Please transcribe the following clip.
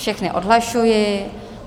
Všechny odhlašuji.